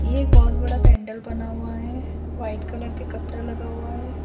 ये एक बहुत बड़ा पेंडल बना हुआ है वाइट कलर के कपड़ा लगा हुआ है।